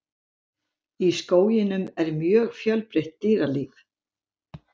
Í skóginum er mjög fjölbreytt dýralíf.